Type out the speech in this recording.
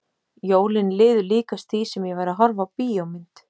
Jólin liðu líkast því sem ég væri að horfa á bíómynd.